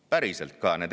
Päriselt ka!